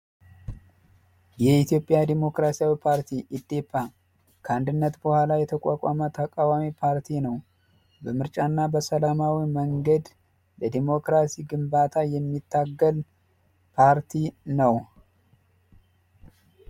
የኢትዮጵያ ዲሞክራሲያዊ ፓርቲ ኢዴፓ ከአንድነት በኋላ የተቋቋመ ተቃዋሚ ፓርቲ ነዉ ። በምርጫ እና በሰላማዊ መንገድ ለዲሞክራሲ ግንባታ የሚታገል ፓርቲ ነዉ።